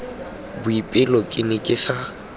boipelo ke ne ke sa